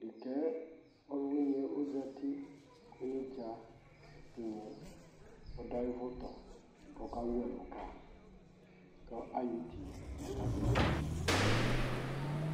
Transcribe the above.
Ɖeka yɛ ɔlʋwini yɛ ozati kʋ onedza yɛ ɛtigna yɛ ɔdʋ ayʋ vʋ tɔ k'ɔka wu ɛlʋ ka, kʋ ayɔ iti laka zɛvi ine ka n'ɛlʋ yɛ li